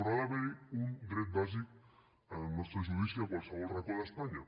però ha d’haver hi un dret bàsic al nostre judici a qualsevol racó d’espanya